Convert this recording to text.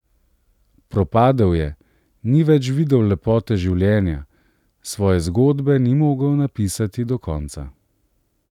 Propadel je, ni več videl lepote življenja, svoje zgodbe ni zmogel napisati do konca.